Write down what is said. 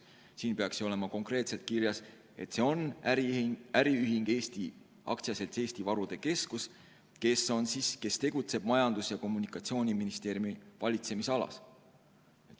Siin peaks ju olema konkreetselt kirjas, et see on äriühing, AS Eesti Varude Keskus, kes tegutseb Majandus- ja Kommunikatsiooniministeeriumi valitsemisalas.